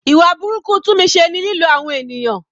Ìwà burúkú Tunmise ni lílo àwọn ènìyàn.